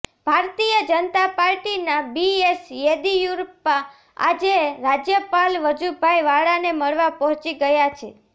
ભારતીય જનતા પાર્ટીના બીએસ યેદિયુરપ્પા આજે રાજ્યપાલ વજુભાઈ વાળાને મળવા પહોંચી ગયા છે